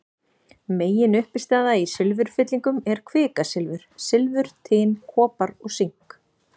Meginuppistaða í silfurfyllingum er kvikasilfur, silfur, tin, kopar og sink.